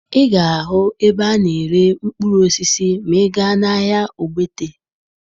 Ị ga-ahụ ebe a na-ere mkpụrụ osisi ma ị gaa n'ahịa Ogbete